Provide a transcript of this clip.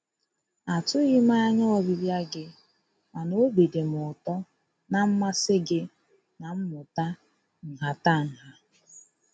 A tụghị m anya ọbịbịa gị mana obi dị m ụtọ na mmasị gị na mmụta nhatanha.